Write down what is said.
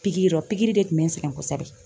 Piki yɔrɔ pikiri de tun be n sɛgɛn kosɛbɛ.